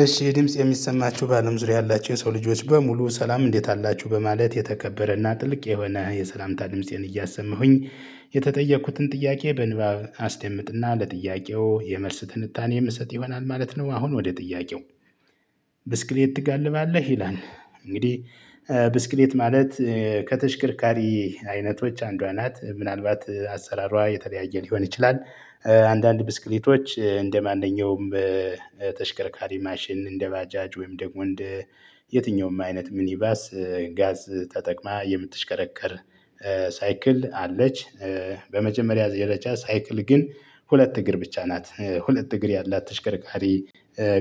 እሺ ድምጽ የሚሰማችሁ ባለም ዙሪያ ያላችሁ የሰው ልጆች በሙሉ ሰላም እንዴት አላችሁ በማለት የተከበረና ጥልቅ የሆነ የሰላምታ ድምፄን እያሰመሁኝ የተጠየኩትን ጥያቄ በንባብ አስደምጥና ለጥያቄው የመልስ ትንታኔ የምሰጥ ይሆናል ማለት ነው አሁን ወደ ጥያቄው? ብስክሌት ትጋልባለህ ይላል። እንግዲህ ብስክሌት ማለት ከተሽከርካሪ አይነቶች አንዷ ናት ምናልባት አሰራሯ የተለያየ ሊሆን ይችላል። አንዳንድ ብስክሌቶች እንደማንኛውም በተሽከርካሪ ማሽን እንደ ባጃጅ ወይም ደግሞ እንድ የትኛውም አይነት ምን ይባስ ጋዝ ተጠቅማ የምትሽከረከር ሳይክል አለች። በመጀመሪያ የለች ሳይክል ግን ሁለት እግር ብቻ ናት ሁለት እግር ያላት ተሽከርካሪ።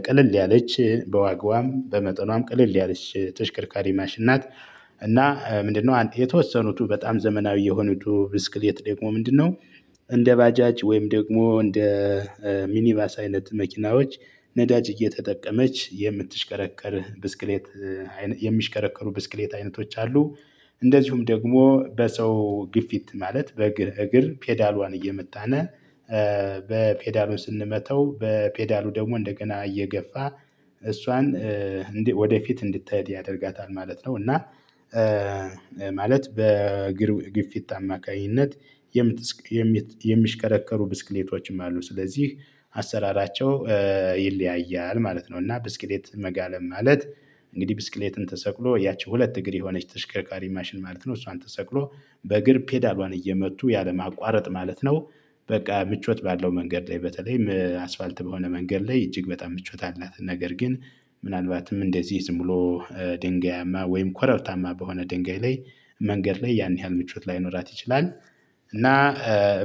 ቀለል ያለች በዋጋዋም በመጠኗም ቀለል ያለች ተሽከርካሪ ማሽን ናት። እና ምንድነው የተወሰኑቱ በጣም ዘመናዊ የሆነው ብስክል ደግሞ ምንድነው? እንደ ባጃጅ ወይም ደግሞ እንደ ሚኒባስ አይነት መኪናዎች ነዳጅ እየተጠቀመች የምትሽከረከር ብስክሌት። የሚሽከረከሩ ብስክሌት አይነቶች አሉ። እንደዚሁም ደግሞ በሰው ግፊት ማለት በእግር እግር ፔዳሏን እየመጣን በፔዳሏ ስንመተው በፔዳሉ ደግሞ እንደገና እየገፋ እሷን ወደፊት እንድትሄድ ያደርጋታል ማለት ነው። እና ማለት በግፊት አማካኝነት የምት የምሽከረከሩ ብስክሌቶችም አሉ ስለዚህ አሰራራቸው ይለያያል ማለት ነው። እና ብስክሌት መጋለብ ማለት እንግዲህ ብስክሌትን ተሰቅሎ ያቺ ሁለት እግር የሆነች ተሽከርካሪ ማሽን ማለት ነው። እሷን ተሰቅሎ በእግር ፔዳሏን እየመቱ ያለማቋረጥ ማለት ነው። በቃ ምቾት ባለው መንገድ ላይ በተለይም አስፋልት በሆነ መንገድ ላይ እጅግ በጣም ምቾት አላት። ነገር ግን ምናልባትም እንደዚህ ዝም ብሎ ድንጋያማ ወይም ኮረብታማ በሆነ ድንጋይ ላይ መንገድ ላይ ያን ያህል ምቾት ላይኖራት ይችላል። እና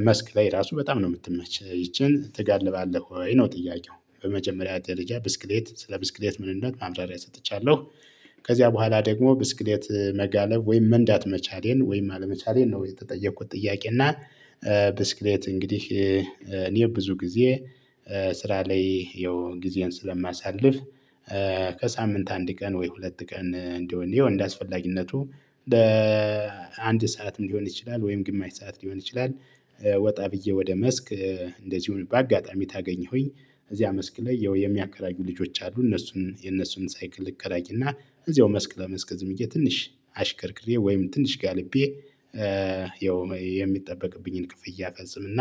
መስክ ላይ ራሱ በጣም ነው የምትመች ይቺን ትጋልባለህ ወይ ነው ጥያቄው? በመጀመሪያ ደረጃ ብስክሌት ስለ ብስክሌት ምንነት ማብራሪያ ሰጥቻለሁ። ከዚያ በኋላ ደግሞ ብስክሌት መጋለብ ወይም መንዳት መቻሌን ወይም አለመቻሌን ነው የተጠየኩት ጥያቄ እና ብስክሌት እንግዲህ እኔ ብዙ ጊዜ ስራ ላይ ያው ጊዜን ስለማሳልፍ። ከሳምንት አንድ ቀን ወይ ሁለት ቀን እንደሆንኩኝ እንደሚያስፈልግነቱ ለአንድ ሰዓትም ሊሆን ይችላል ወይም ግማሽ ሰዓት ሊሆን ይችላል። ወጣ ብዬ ወደ መስክ እንደዚሁም በአጋጣሚ ታገኘሁኝ እዚያ መስክ ላይ ያው የሚያከራዩ ልጆች አሉ። እነሱን የነሱን ሳይክል እከራይ እና እዚያው መስክ ለመስክ ዝምዬ ትንሽ አሽከርክሬ ወይም ትንሽ ጋልቤ። ያው የሚጠበቅብኝን ክፍያ አፈጽምና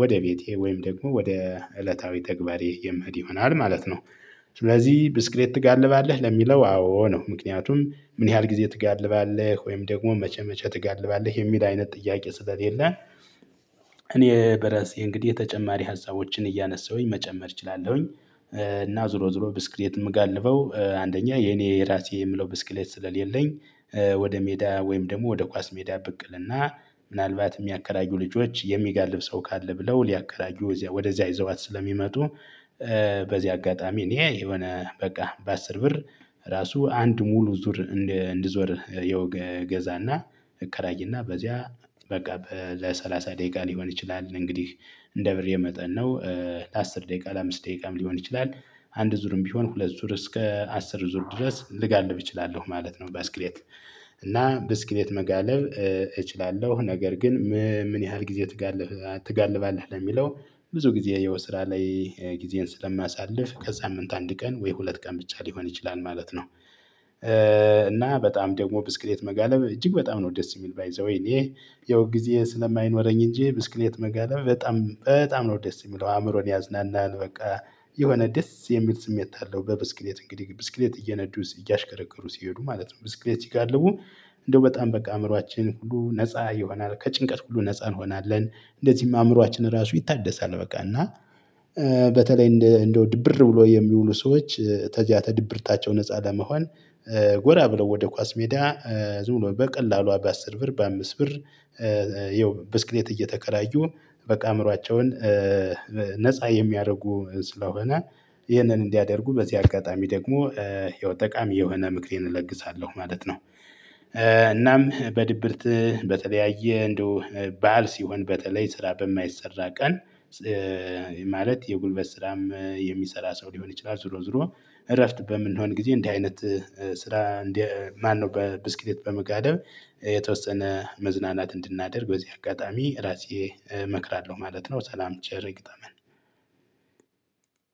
ወደ ቤቴ ወይም ደግሞ ወደ እለታዊ ተግባር የመሄድ ይሆናል ማለት ነው። ስለዚህ ብስክሬት ትጋልባለህ ለሚለው አዎ ነው። ምክንያቱም ምን ያህል ጊዜ ትጋልባለህ ወይም ደግሞ መቼ መቼ ትጋልባለህ የሚል አይነት ጥያቄ ስለሌለን። እኔ በራሴ እንግዲህ የተጨማሪ ሀሳቦችን እያነሳሁኝ መጨመር እችላለሁኝ። እና ዙሮ ዙሮ ብስክሌት የምጋልበው አንደኛ የኔ የራሴ የምለው ብስክሌት ስለሌለኝ። ወደ ሜዳ ወይም ደግሞ ወደ ኳስ ሜዳ ብቅልና ምናልባት የሚያከራዩ ልጆች የሚጋልብ ሰው ካለ ብለው ሊያከራዩ ወዲያ ወዲያ ይዘዋት ስለሚመጡ። በዚህ አጋጣሚ እኔ የሆነ በቃ በአስር ብር ራሱ አንድ ሙሉ ዙር። እንድዞር የወገዛና እከራይና በዚያ በቃ ለሰላሳ ደቂቃ ሊሆን ይችላል እንግዲህ እንደ ብር የመጠን ነው። ለአስር ደቂቃ ለአምስት ደቂቃም ሊሆን ይችላል አንድ ዙርም ቢሆን ሁለት ዙር እስከ አስር ዙር ድረስ ልጋልብ እችላለሁ ማለት ነው። ባስክሌት እና ባስክሌት መጋለብ እችላለሁ ነገር ግን ምን ያህል ጊዜ ትጋልባለህ ለሚለው ብዙ ጊዜ የው ስራ ላይ ጊዜን ስለማሳልፍ ከዛም እንት አንድ ቀን ወይ ሁለት ቀን ብቻ ሊሆን ይችላል ማለት ነው። እና በጣም ደግሞ ብስክሌት መጋለብ እጅግ በጣም ነው ደስ የሚል ባይ ዘዌይ እኔ ያው ጊዜ ስለማይኖረኝ እንጂ ብስክሌት መገለብ በጣም በጣም ነው ደስ የሚለው። አእምሮን ያዝናናል በቃ የሆነ ደስ የሚል ስሜት አለው። በብስክሌት እንግዲህ ብስክሌት እየነዱስ እያሽከረከሩ ሲሄዱ ማለት ነው ብስክሌት ይጋልቡ እንደው በጣም በቃ አእምሮአችን ሁሉ ነፃ ይሆናል ከጭንቀት ሁሉ ነፃ እንሆናለን። እንደዚህም አእምሮአችን ራሱ ይታደሳል። በቃ እና በተለይ እንደው ድብር ብሎ የሚውሉ ሰዎች ተዛተ ድብርታቸው ነፃ ለመሆን ጎራ ብለው ወደ ኳስ ሜዳ ዙሩ በቀላሉ በአስር ብር በአምስት ብር። ይኸው ብስክሌት እየተከራዩ በቃ አእምሮአቸውን ነፃ የሚያደርጉ ስለሆነ ይህንን እንዲያደርጉ በዚህ አጋጣሚ ደግሞ የው ጠቃሚ የሆነ ምክሬን እለግሳለሁ ማለት ነው። እናም በድብርት በተለያየ እንደው ባል ሲሆን በተለይ ስራ በማይሰራ ቀን። ማለት የጉልበት ስራም የሚሰራ ሰው ሊሆን ይችላል ዝሮ ዝሮ እረፍት በምንሆን ጊዜ እንዲህ አይነት ስራ ማነው በብስክሌት በመጋለብ የተወሰነ መዝናናት እንድናደርግ በዚህ አጋጣሚ ራሴ እመክራለሁ ማለት ነው። ሰላም ጭርግጠመን